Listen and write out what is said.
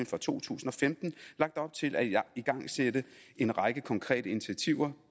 for to tusind og femten lagt op til at igangsætte en række konkrete initiativer